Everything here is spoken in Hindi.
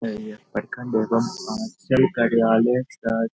प्रखंड एवं सह अंचल कार्यालय --